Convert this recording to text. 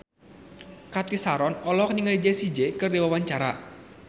Cathy Sharon olohok ningali Jessie J keur diwawancara